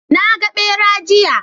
Naga ɓera, jiya